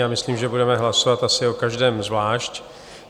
Já myslím, že budeme hlasovat asi o každém zvlášť.